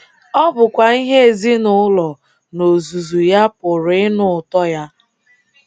Ọ bụkwa ihe ezinụụlọ n’ozuzu ya pụrụ ịnụ ụtọ ya.